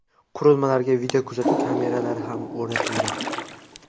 Qurilmalarga videokuzatuv kameralari ham o‘rnatilgan.